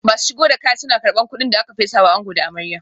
Masu shigo da kaya suna karban kudin da aka fesa wa ango da amarya